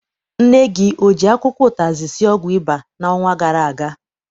Nne gị o ji akwụkwọ ụtazị sie ọgwụ ịba n'ọnwa gara aga?